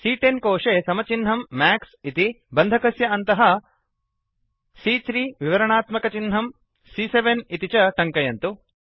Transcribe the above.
सी॰॰10 कोशे समचिह्नं मैक्स इति बन्धकस्य अन्तःC3 विवरणात्मकचिह्नं सी॰॰7 इति च टङ्कयन्तु